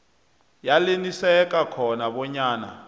yaneliseka khona bonyana